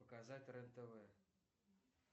показать рен тв